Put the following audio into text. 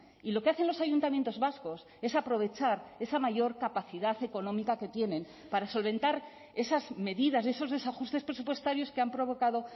y lo que hacen los ayuntamientos vascos es aprovechar esa mayor capacidad económica que tienen para solventar esas medidas esos desajustes presupuestarios que han provocado